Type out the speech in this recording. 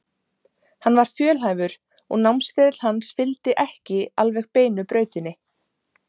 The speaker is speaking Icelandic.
Hann var fjölhæfur og námsferill hans fylgdi ekki alveg beinu brautinni.